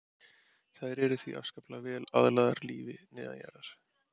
Þær eru því afskaplega vel aðlagaðar lífi neðanjarðar.